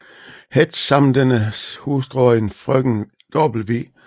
Hetsch samt dennes hustru og en frøken W